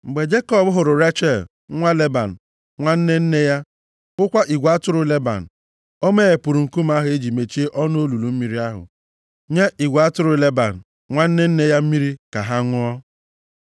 Mgbe Jekọb hụrụ Rechel nwa Leban nwanne nne ya, hụkwa igwe atụrụ Leban, ọ meghepụrụ nkume ahụ e ji mechie ọnụ olulu mmiri ahụ nye igwe atụrụ Leban, nwanne nne ya mmiri ka ha ṅụọ.